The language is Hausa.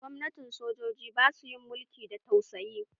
Gwamnatin sojoji basu yin mulki da tausayi.